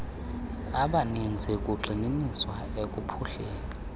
abaninzi kugxininiswa ekuphuhliseni